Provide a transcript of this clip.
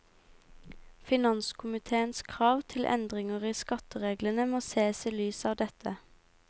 Finanskomitéens krav til endringer i skattereglene må sees i lys av dette.